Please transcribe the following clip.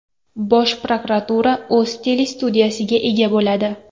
Bosh prokuratura o‘z telestudiyasiga ega bo‘ladi.